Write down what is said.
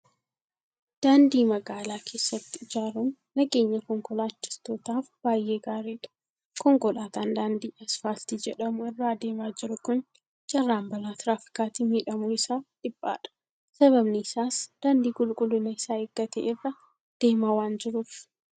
Daandii magaalaa keessatti ijaaruun nageenya konkolaachiftootaaf baay'ee gaariidha. Konkolaataan daandii Asfaaltii jedhamu irra adeemaa jiru kun carraan balaa tiraafikaatiin miidhamuu isaa dhiphaadha. Sababni isaas daadnii qulqullina isaa eeggate irra deemaa waan jiruuf.